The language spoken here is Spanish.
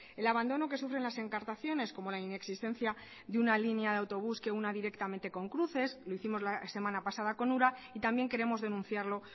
el abandono que sufren las encartaciones como la inexistencia de una línea de autobús que una directamente con cruces lo hicimos la semana pasada con ura y también queremos denunciarlo